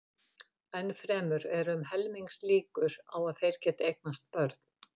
Enn fremur eru um helmingslíkur á að þeir geti eignast börn.